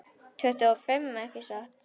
Tuttugu og fimm, ekki satt?